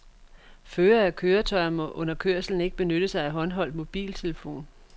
Førere af køretøjer må under kørsel ikke benytte sig af håndholdt mobiltelefon.